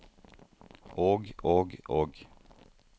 og og og